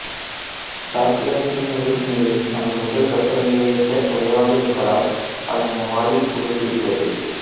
சாக்கொலேட்டின் உருகுநிலை நமது உடல் வெப்பநிலையை விட குறைவாக இருப்பதால் அது நம் வாயில் உருகுகிறது